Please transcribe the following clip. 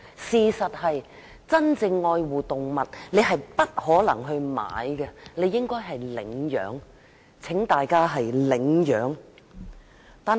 事實上，真正愛護動物的人，不應買而應領養，請大家領養動物。